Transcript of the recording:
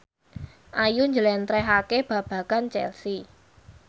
Ayu njlentrehake babagan Chelsea